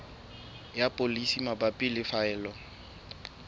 ya polasi mabapi le phaello